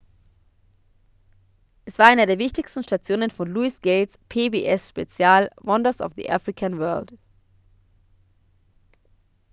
es war einer der wichtigsten stationen von louis gates pbs-spezial wonders of the african world